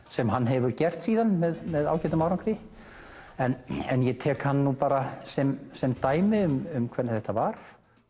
sem hann hefur gert síðan með með ágætum árangri ég tek hann bara sem sem dæmi um hvernig þetta var